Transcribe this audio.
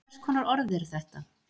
hvers konar orð eru þetta